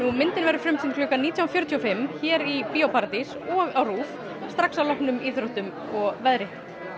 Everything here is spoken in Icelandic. myndin verður frumsýnd klukkan nítján fjörutíu og fimm hér í Bíó paradís og á RÚV strax að loknum íþróttum og veðri